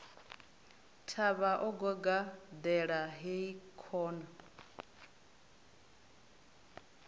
thavha o gagaḓela hai khona